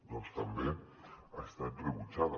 doncs també ha estat rebutjada